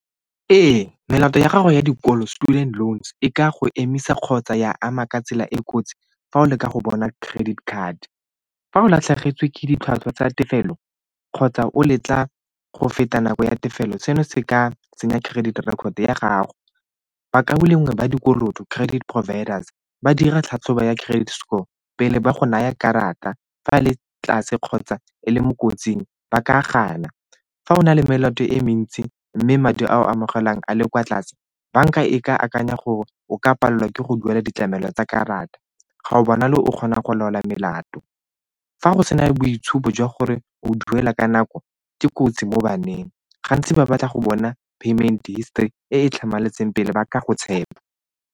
Ee, melato ya gago ya dikolo, student loans, e ka go emisa kgotsa ya ama ka tsela e kotsi fa o leka go bona credit card. Fa o latlhegetswe ke ditlhwatlhwa tsa tefelo kgotsa o letla go feta nako ya tefelo seno se ka senya credit record ya gago. Bakaulengwe ba dikoloto, credit providers ba dira tlhatlhobo ya credit score pele ba go naya karata fa le tlase kgotsa e le mo kotsing ba ka gana. Fa o na le melato e mentsi mme madi a amogelang a le kwa tlase banka e ke akanya gore o ka palelwa ke go duela ditlamelo tsa karata ga o bonagale o kgonang go laola melato. Fa go sena boitshupo jwa gore o duela ka nako, ke kotsi mo baneng gantsi ba batla go bona payment histori e e tlhamaletseng pele ba ka go tshepa.